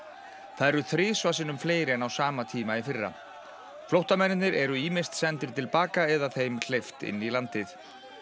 það eru þrisvar sinnum fleiri en á sama tíma í fyrra flóttamennirnir eru ýmist sendir til baka eða þeim hleypt inn í landið